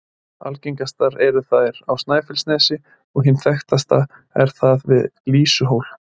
Algengastar eru þær á Snæfellsnesi, og hin þekktasta er þar við Lýsuhól.